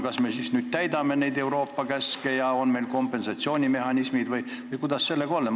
Kas me siis täidame neid Euroopa käske ja meil on kompensatsioonimehhanismid või kuidas?